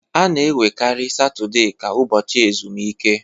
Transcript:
A na-ewerekarị Satọde ka ụbọchị ezumike.